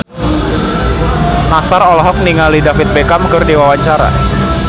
Nassar olohok ningali David Beckham keur diwawancara